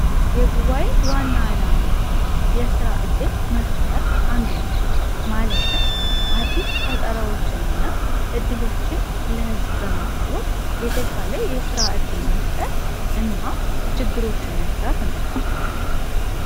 የጉባኤ ዋና አላማዎች ውስጥ አንደኛው የስራ እድል መፍጠር ነው እንዴት የስራ እድል መፍጠር እንደሚቻል ለማህበረሰቡ ለማሳየት የስራ እድል እና ችግሮችን መፍታት ነው።